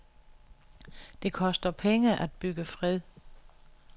Det koster penge at bygge fred.